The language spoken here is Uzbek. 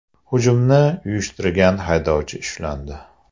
Hujumni uyushtirgan haydovchi ushlandi.